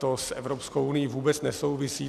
To s Evropskou unií vůbec nesouvisí.